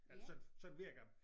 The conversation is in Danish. Eller sådan sådan virker